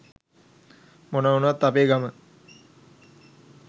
මොනව උනත් අපේ ගම